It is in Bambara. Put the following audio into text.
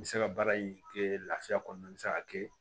N bɛ se ka baara in kɛ lafiya kɔnɔna na n bɛ se ka kɛ